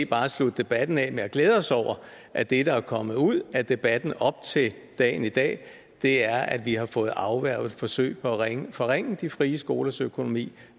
bare slutte debatten af med at glæde os over at det der er kommet ud af debatten op til dagen i dag er at vi har fået afværget et forsøg på at forringe de frie skolers økonomi